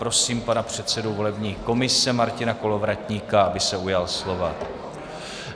Prosím pana předsedu volební komise Martina Kolovratníka, aby se ujal slova.